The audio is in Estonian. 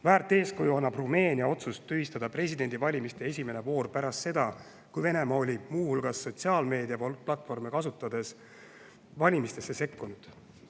Väärt eeskuju annab Rumeenia otsus tühistada presidendivalimiste esimene voor pärast seda, kui Venemaa oli muu hulgas sotsiaalmeediaplatvorme kasutades valimistesse sekkunud.